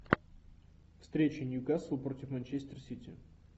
встреча ньюкасл против манчестер сити